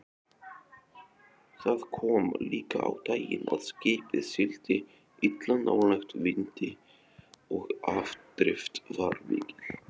Það kom líka á daginn að skipið sigldi illa nálægt vindi og afdrift var mikil.